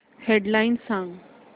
head lines सांग